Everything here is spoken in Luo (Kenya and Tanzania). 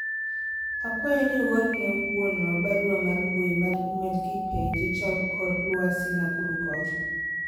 akwayo ni uorne wuonwa barua mar mbui mar email kipenje chal kor lwasi Nakuru kocha